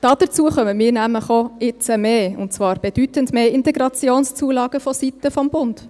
Dazu erhalten wir nämlich jetzt auch mehr, und zwar bedeutend mehr Integrationszulagen vonseiten des Bundes.